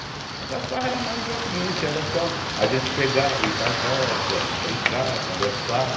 Aquelas farras eram mais é o seguinte, era só a gente pegar, ir pras roças, brincar, conversar.